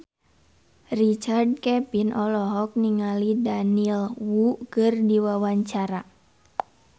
Richard Kevin olohok ningali Daniel Wu keur diwawancara